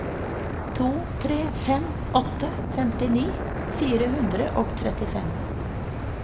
to tre fem åtte femtini fire hundre og trettifem